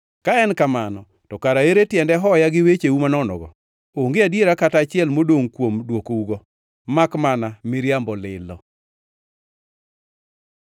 “Ka en kamano, to kara koro ere tiende hoya gi wecheu manonogo? Onge adiera kata achiel modongʼ kuom dwokougo, makmana miriambo lilo!”